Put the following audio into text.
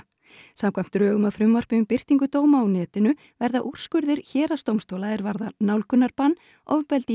samkvæmt drögum að frumvarpi um birtingu dóma á netinu verða úrskurðir héraðsdómstóla er varða nálgunarbann ofbeldi